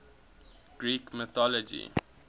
greek mythology